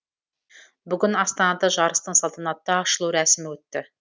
бүгін астанада жарыстың салтанатты ашылу рәсімі өтті